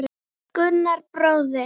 Gunnar bróðir.